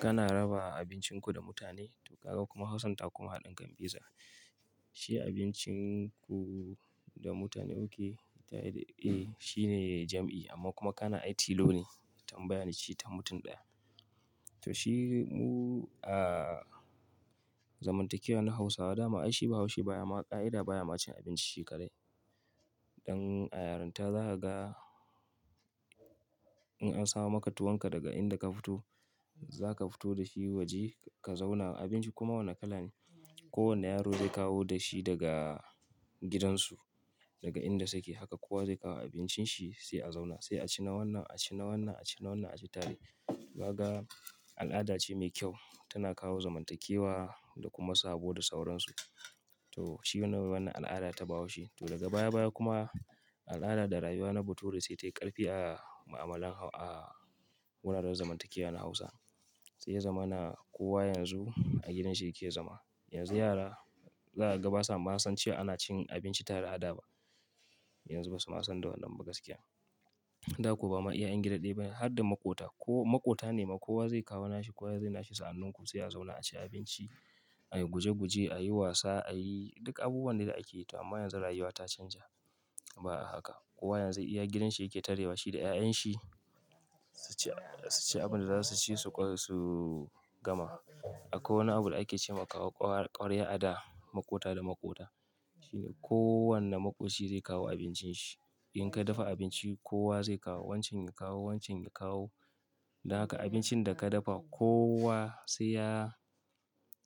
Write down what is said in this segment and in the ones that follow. Kana raba abincinku da mutane, to ka ga kuma Hausa ta kuma haɗin kan beza. Shi abincinku da mutane oke tare da, eh shi ne jam'i amma kuma kana aiti lone tambaya ne ce ta mutum ɗaya. To shi mu a zamantakewa na Hausawa dama aishi ba haushi baya ma ƙa'ida baya ma cin abinci shi kadai dan a yarinta za ka ga in an samu maka tuwonka daga inda ka fito, za ka fito da shi waje ka zauna abinci kuma wane kala ne. Ko wanne yaro zai kawo da shi daga gidansu, daga inda suke haka kowa zai kawo abincin shi sai a zauna. Sai a ci na wannan, a ci na wannan, a ci na wannan, a ci tare. To ga al'ada ce mai kyau tana kawo zamantakewa da kuma saboda sauransu. To shi ne wannan al'ada ta bahaushe. To daga baya baya kuma al'ada da rayuwa na bature sai tayi ƙarfi a ma'amalan a wuraren zamantakewa na Hausa. Sai ya zama na kowa yanzu a gidan shi yake zama. Yanzu yara za ka ga basa ma san cewa ana cin abinci tare a da ba. Yanzu basu ma san da wannan gaskiya. Da kuwa ba ma iyayen gida dai ba har da makota. Ko makota ne ma kowa zai kawo na shi kowa zai yi na shi. Sa'an nan ku sai a zauna a ci abinci, a yi guje guje, a yi wasa, a yi duk abubuwan da ake yi. To amma yanzu rayuwa ta canja. Ba a haka. Kowa yanzu iya gidan shi yake tare da shi da 'ya'yan shi. Su ci, su ci abin da za su ci su ƙo su gama. Akwai wani abu da ake ce ma kawo ƙwar ƙwarya al'ada makota da makota. Shi ne kowanne makoci zai kawo abincin shi. In ka dafa abinci kowa zai kawo wancan ya kawo wancan ya kawo. Da haka abincin da ka dafa kowa sai ya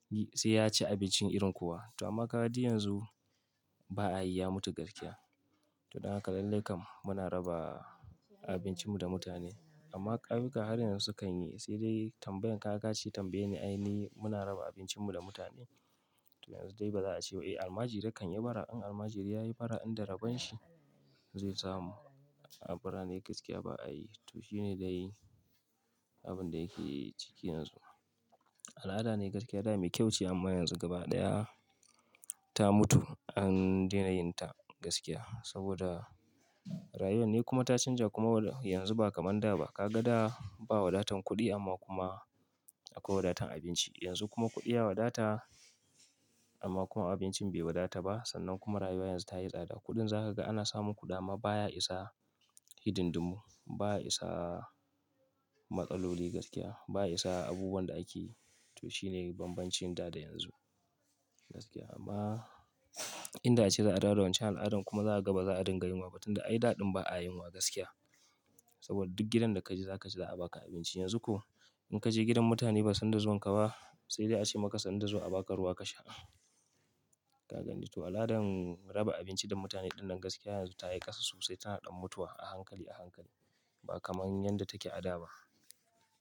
yi sai ya ci abincin irin kuwa. To amma ka ga ji yanzu ba a yi ya mutu gaskiya. To daga lallai kam muna raba abincin mu da mutane. Amma ƙauyukar yanzu sukan yi sai dai tambayan ka ka ce tambaye ni ai ni muna raba abincin mu da mutane. To yanzu dai ba za a ce ba eh almajiri kan yi bara. In almajiri ya yi bara inda rabon shi zai samu. Bara ne gaskiya ba a yi. To shi ne dai abin da yake ciki yanzu. Al'ada ne gaskiya dama mai kyau ce amma yanzu gaba ɗaya ta mutu. An dena yin ta gaskiya saboda rayuwa ne kuma ta canja kuma yanzu ba kamar da ba. Ka ga da ba wadatan kuɗi amma kuma akwai wadatan abinci. Yanzu kuma kuɗiya wadata amma kuma abincin bai wadata ba. Sannan kuma rayuwa yanzu ta yi tsada. Kuɗin za ka ga ana samun kuɗi ama baya isa hidin dumun, baya isa matsaloli gaskiya, baya isa abubuwan da ake yi. To shi ne banbancin da da yanzu gaskiya. Amma inda a ce za a darawa wancan al'adan kuma za a gaba za a dinga yunwa ba tun da ai da ɗin ba a yunwa gaskiya. Saboda duk gidan da ka je za ka ji za a baka abinci. Yanzu ko in ka je gidan mutane ba san da zuwan ka ba sai dai a ce maka sanda zuwa a baka ruwa ka sha. Ka gani? To al'adan raba abinci da mutane ɗinnan gaskiya yanzu ta yi ƙasa sosai tana ɗan mutuwa a hankali a hankali ba kamar yadda take a da ba.